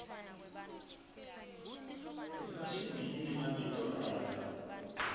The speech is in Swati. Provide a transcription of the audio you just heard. ifashini inemabito ayo